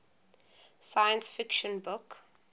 science fiction book